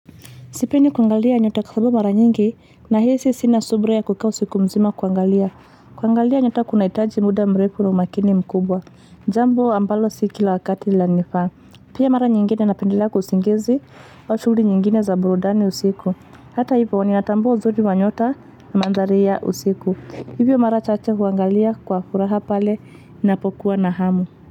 Sipendi kuangalia nyota kwa sababu mara nyingi nahisi sina subira ya kukaa usiku mzima kuangalia. Kuangalia nyota kunahitaji muda mrefu na umakini mkubwa. Jambo ambalo si kila wakati lanifaa. Pia mara nyingine napendelea usingizi au shughuli nyingine za burudani usiku. Hata hivyo ninatambua uzuri wa nyota na mandhari ya usiku. Hivyo mara chache huangalia kwa furaha pale napokuwa na hamu.